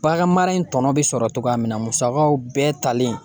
Baganmara in tɔnɔ be sɔrɔ togoya min na musakaw bɛɛ talen